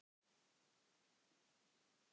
Þinn Geir Gígja.